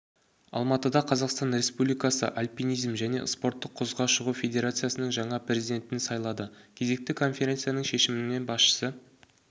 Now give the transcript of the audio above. алматыда қазақстан республикасы альпинизм және спорттық құзға шығу федерациясының жаңа президентін сайлады кезекті конференцияның шешімімен басшысы